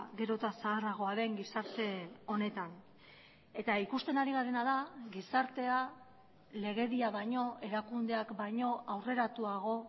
gero eta zaharragoa den gizarte honetan eta ikusten ari garena da gizartea legedia baino erakundeak baino aurreratuago